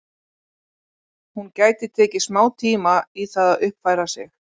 Hún gæti tekið smá tíma í það að uppfæra sig.